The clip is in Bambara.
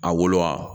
A wolo